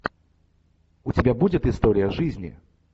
у тебя будет история жизни